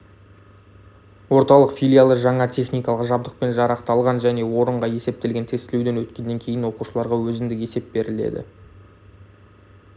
орталық филиалы жаңа техникалық жабдықпен жарақталған және орынға есептелген тестілеуден өткеннен кейін оқушыларға өзіндік есеп беріледі